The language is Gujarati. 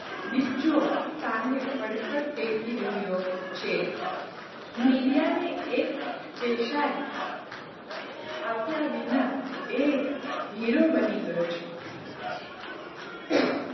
દિચચો સામે પળકર ફેકી રહ્યો છે media ને એક પેશાય આપ્યાં વિના એ હીરો બની ગયો છે